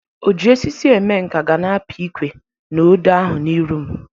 O ji osisi eme nka gana apị ikwe na odo ahụ n'iru m